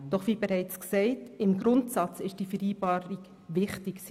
Doch wie bereits gesagt, ist die Vereinbarung im Grundsatz wichtig.